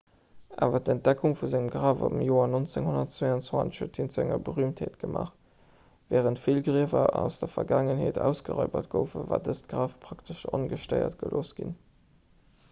awer d'entdeckung vu sengem graf am joer 1922 huet hien zu enger berüümtheet gemaach wärend vill griewer aus der vergaangenheet ausgeraibert goufen war dëst graf praktesch ongestéiert gelooss ginn